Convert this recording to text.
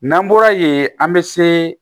N'an bɔra yen an bɛ se